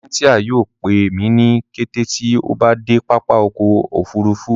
Cynthia yóò pẹ mi ni kẹtẹ tí o bá de pápá ọkọ̀ òfurufú